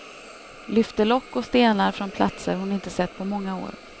Lyfte lock och stenar från platser hon inte sett på många år.